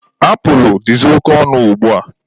Apulụ dịzị oke ọnụ ugbua.